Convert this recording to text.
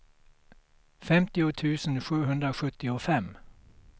femtio tusen sjuhundrasjuttiofem